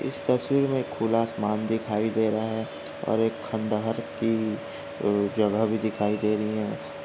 तस्वीर में खुला असमान दिखाई दे रहा है और एक खंडहर कि जगह भी दिखाई दे रही है।